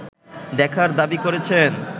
দেখার দাবি করেছেন